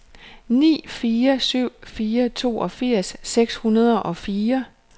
ni fire syv fire toogfirs seks hundrede og fire